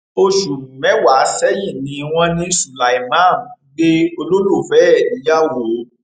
oṣù mẹwàá sẹyìn ni wọn ní sulaiman gbé olólùfẹ ẹ níyàwó